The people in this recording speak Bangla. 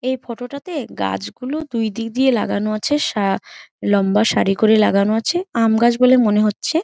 এই ফটো টা তে গাছ গুলো দুই দিক দিয়ে লাগানো আছে। সা লম্বা সারি করে লাগানো আছে আম গাছ বলে মনে হচ্ছে।